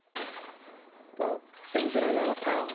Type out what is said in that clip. ତ ସେମିତି ରହିବା କଥା ଆଉ